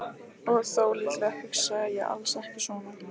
Og þó, líklega hugsaði ég alls ekki svona.